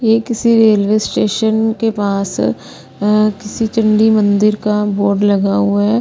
ये किसी railway station के पास किसी चंडी मंदिर का बोर्ड लगा हुआ है।